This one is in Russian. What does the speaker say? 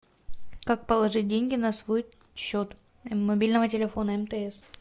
как положить деньги на свой счет мобильного телефона мтс